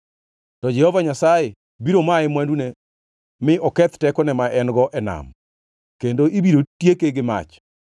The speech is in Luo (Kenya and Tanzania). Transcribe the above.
To Jehova Nyasaye biro maye mwandune mi oketh tekone ma en-go e nam, kendo ibiro tieke gi mach.